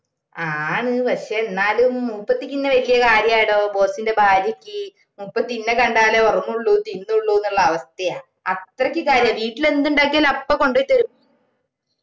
ആന്ന് പക്ഷെ എന്നാലും മൂപ്പത്തിക്ക് എന്നെ വെല്യ കാര്യടോ boss ഇന്റെ ഭാര്യയ്ക്ക് മുപ്പത്തി എന്നെ കണ്ടാലേ ഉറങ്ങുള്ളൂ തിന്നുള്ളൂ എന്നുള്ള അവസ്ഥയാ അത്രക്ക് കാര്യ വീട്ടിലെന്ത് ഉണ്ടാക്കിയാലും അപ്പൊ കൊണ്ടോയി തെരും